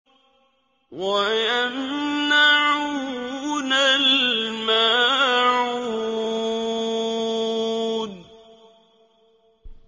وَيَمْنَعُونَ الْمَاعُونَ